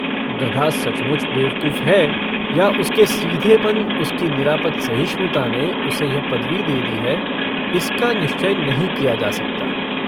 गधा सचमुच बेवकूफ है या उसके सीधेपन, उसकी निरापद सहिष्णुता ने उसे यह पदवी दे दी है, इसका निश्चय नहीं किया जा सकता।